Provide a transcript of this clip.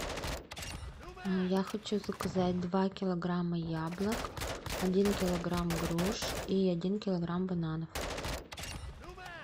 я хочу заказать два килограмма яблок один килограмм груш и один килограмм бананов